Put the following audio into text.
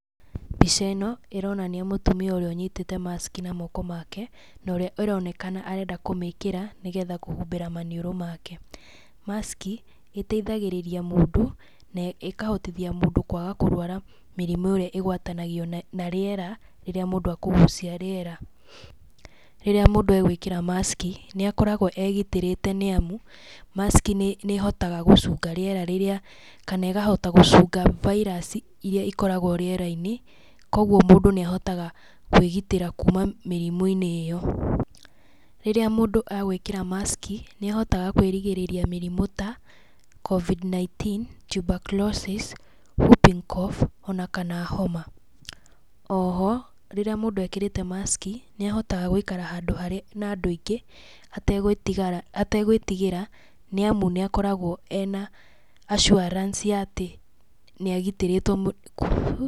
Mbica ĩno ĩronania mũtumia ũrĩa anyitĩte maski na moko make na ũrĩa aronekana arende kũmĩkĩra nĩgetha kũhibĩra maniũrũ make, maski ĩteithagĩrĩria mũndũ na kũhotithia mũndũ kwaga kũrũara mĩrimũ ĩrĩa ĩgwatagio na rĩera rĩrĩa mũndũ ekũgucia rĩera, rĩrĩa mũndũ agwĩkĩra maski nĩakoragwa egitĩrĩte nĩamu maski nĩhotaga gũcunga rĩera rĩrĩa kana ĩkahota gũcunga virus irĩa ikoragwo rĩerainĩ kwoguo mũndũ nĩahotaga kwĩgitĩra kuuma mĩrimũinĩ ĩyo, rĩrĩa mũndũ egwĩkĩra maski nĩahotaga kwĩrigĩrĩria mĩrimũ ta Covid 19,tuberculosis, whooping cough ona kana homa, oho rĩrĩa mũndũ ekĩrĩte maski nĩahotaga gwĩkara harĩa hena andũ aingĩ hatĩgwĩtigĩra nĩamu nĩakoragwa ena assurance ya atĩ nĩagitĩrĩtwe.